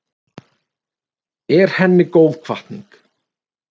Er henni góð hvatning.